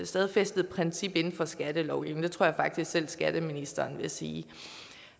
stadfæstet princip inden for skatteloven det tror jeg faktisk selv skatteministeren vil sige